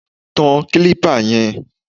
Tan kílípà yẹn!